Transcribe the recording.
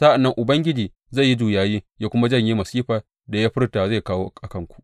Sa’an nan Ubangiji zai yi juyayi ya kuma janye masifar da ya furta zai kawo a kanku.